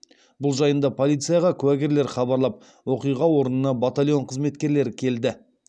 бұл жайында полицияға куәгерлер хабарлап оқиға орнына батальон қызметкерлері келді